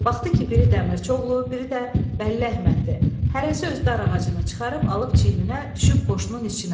Baxdı ki, biri Dəmirçioğlu, biri də Bəlləhməddi, hərəsi öz dar ağacını çıxarıb alıb çiyninə düşüb qoşunun içinə.